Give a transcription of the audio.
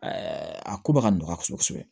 a ko bɛ ka nɔgɔya kosɛbɛ